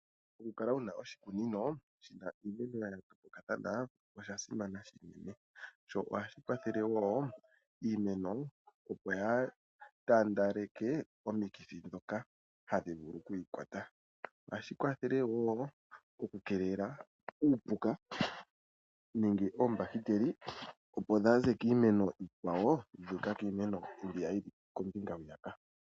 Okukala wuna oshikunino shina iimeno ya yoolokathana osha simana unene, sho ohashi kwathele wo iimeno opo yaa taandaleke omikithi dhoka hadhi vulu okwi ikwata. Ohashi kwathele wo okukeelela uupuka nenge oombahiteli opo dhaaze kiimeno iikwawo yu uka kiimeno mbiya yili kombinga hwiyaka.